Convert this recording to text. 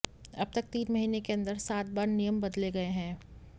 अब तक तीन महीने के अंदर सात बार नियम बदले गए हैं